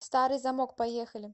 старый замок поехали